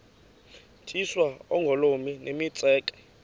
tyiswa oogolomi nemitseke